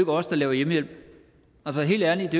os der laver hjemmehjælp altså helt ærligt